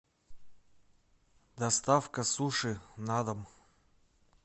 доставка суши на дом